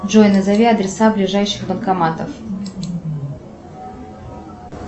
джой назови адреса ближайших банкоматов